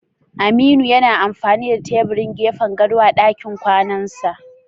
Aminu yana amfani da tebirin gefen gado a dakin kwanansa?